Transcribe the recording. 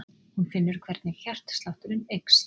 Hún finnur hvernig hjartslátturinn eykst.